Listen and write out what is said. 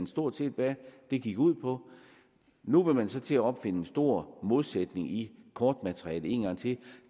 stort set hvad det gik ud på nu vil man så til at opfinde en stor modsætning i kortmaterialet en gang til